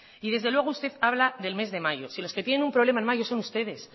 y desde luego usted habla del mes de mayo si los que tienen un problema en mayo son ustedes